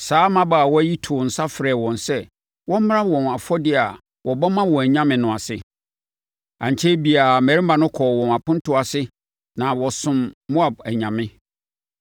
Saa mmabaawa yi too nsa frɛɛ wɔn sɛ wɔmmra wɔn afɔdeɛ a wɔbɔ ma wɔn anyame no ase. Ankyɛre biara, mmarima no kɔɔ wɔn apontoɔ ase na wɔsomm Moab anyame.